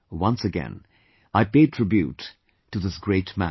Once again, I pay tribute to this great man